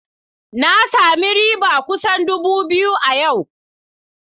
Na sami riba kusan dubu biyu a yau.